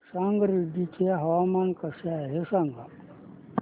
संगारेड्डी चे हवामान कसे आहे सांगा